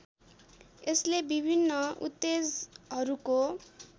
यसले विभिन्न उत्तेजहरूको